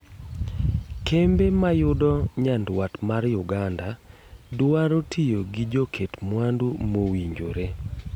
Kembe mayudo nyaduat mar Uganda duaro tiyo gi joket mwandu mowinjore.